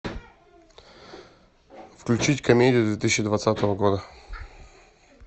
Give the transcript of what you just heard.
включить комедию две тысячи двадцатого года